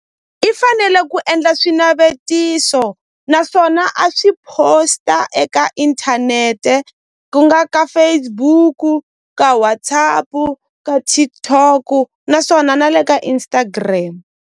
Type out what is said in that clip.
I fanele ku endla swinavetiso naswona a swi posta eka inthanete ku nga ka Facebook-u ka WhatsApp-u ka TikTok-u naswona na le ka Instagram.